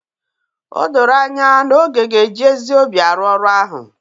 O doro anya na Oge ga-eji ezi obi arụ ọrụ ahụ